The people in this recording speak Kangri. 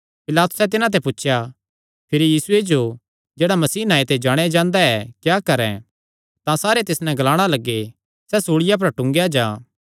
पिलातुसैं तिन्हां ते पुछया भिरी यीशुये जो जेह्ड़ा मसीह नांऐ ते जाणेयां जांदा ऐ क्या करैं तां सारे तिस नैं ग्लाणा लग्गे सैह़ सूल़िया पर टूंगेया जां